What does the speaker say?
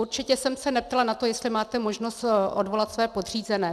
Určitě jsem se neptala na to, jestli máte možnost odvolat své podřízené.